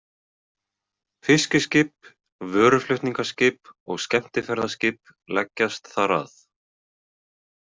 Fiskiskip, vöruflutningaskip og skemmtiferðaskip leggjast þar að.